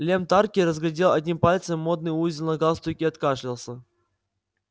лем тарки разгладил одним пальцем модный узел на галстуке и откашлялся